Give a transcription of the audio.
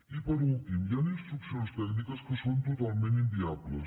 i per últim hi han instruccions tècniques que són totalment inviables